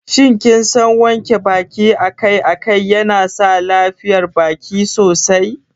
Shin kinsan wanke baki akai-akai yana sa lafiyar baki sosai?